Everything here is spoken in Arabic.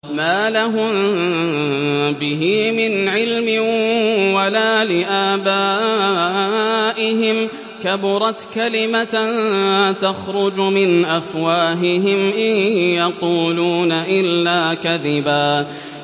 مَّا لَهُم بِهِ مِنْ عِلْمٍ وَلَا لِآبَائِهِمْ ۚ كَبُرَتْ كَلِمَةً تَخْرُجُ مِنْ أَفْوَاهِهِمْ ۚ إِن يَقُولُونَ إِلَّا كَذِبًا